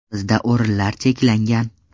Bizda o‘rinlar cheklangan.